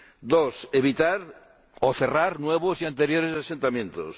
dos, evitar o cerrar nuevos y anteriores asentamientos